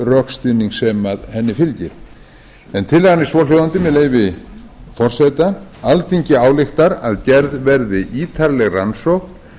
rökstuðning sem henni fylgir tillagan er svohljóðandi með leyfi forseta alþingi ályktar að gerð verði ítarleg rannsókn